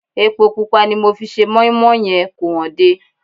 Epo pupa tí mo fi se mọ́ín-mọ́ín yẹn kò hànde